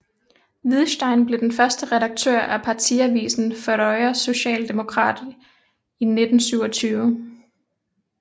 Viðstein blev den første redaktør af partiavisen Føroya Social Demokrat i 1927